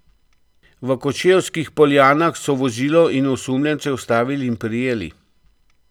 V Kočevskih Poljanah so vozilo in osumljence ustavili in prijeli.